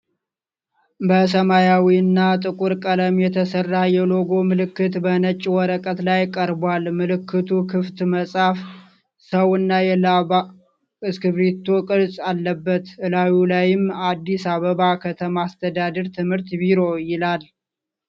በሰማያዊና ጥቁር ቀለም የተሰራ የሎጎ ምልክት በነጭ ወረቀት ላይ ቀርቧል። ምልክቱ ክፍት መጽሐፍ፣ ሰውና የላባ እስክሪብቶ ቅርጽ አለበት። እላዩ ላይም " አዲስ አበባ ከተማ አስተዳደር ትምህርት ቢሮ" ይላል፡፡